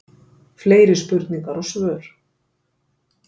Fleiri spurningar og svör